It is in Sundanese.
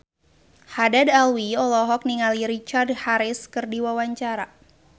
Haddad Alwi olohok ningali Richard Harris keur diwawancara